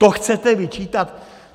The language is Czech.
To chcete vyčítat?